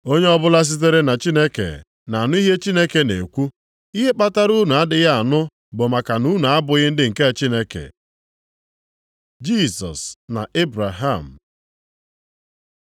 Onye ọbụla sitere na Chineke na-anụ ihe Chineke na-ekwu. Ihe kpatara unu adịghị anụ bụ maka unu abụghị ndị nke Chineke.” Jisọs na Ebraham